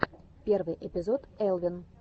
первый эпизод элвин